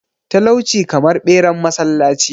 talauci kamar beran masallaci